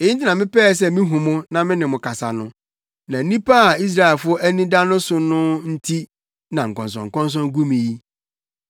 Eyi nti na mepɛɛ sɛ mihu mo na me ne mo kasa no; na onipa a Israelfo ani da no so no nti na nkɔnsɔnkɔnsɔn gu me yi.”